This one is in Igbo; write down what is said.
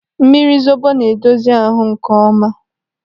Mmiri zobo na-edozi ahụ nkeọma.